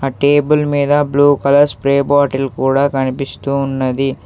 Table మీద blue colour spray bottle కూడా కనిపిస్తూ ఉన్నది.